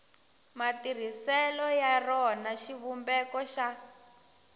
matirhiselo ya rona xivumbeko xa